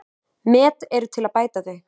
Met eru til að bæta þau.